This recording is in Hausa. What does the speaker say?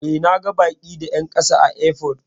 E, na ga baki da 'yan kasa a airport.